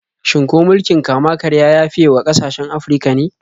Shin ko mulkin kama-karya ya fiye wa ƙasashen Afirka ne?